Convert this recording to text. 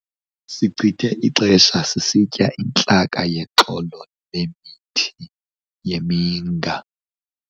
Sichithe ixesha sisitya intlaka yexolo lemithi yeminga.